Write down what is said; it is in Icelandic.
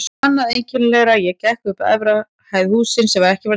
Annað einkennilegra: ég gekk upp á efri hæð í húsi sem var ekki til.